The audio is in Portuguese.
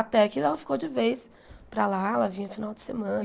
Até que ela ficou de vez para lá, ela vinha no final de semana.